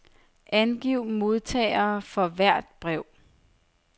Angiv modtagere for hvert brev.